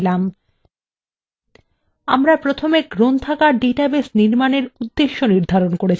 আমরা প্রথমে গ্রন্থাগার ডাটাবেস নির্মাণের উদ্দেশ্য নির্ধারন করেছিলাম